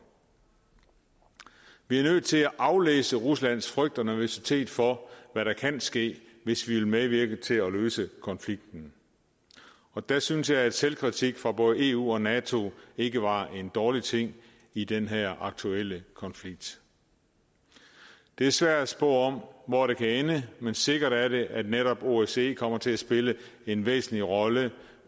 vi er nødt til at aflæse ruslands frygt og nervøsitet for hvad der kan ske hvis vi vil medvirke til at løse konflikten og der synes jeg at selvkritik fra både eu og nato ikke var en dårlig ting i den her aktuelle konflikt det er svært at spå om hvor det kan ende men sikkert er det at netop osce kommer til at spille en væsentlig rolle